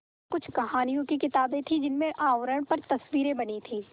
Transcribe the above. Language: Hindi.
कुछ कहानियों की किताबें थीं जिनके आवरण पर तस्वीरें बनी थीं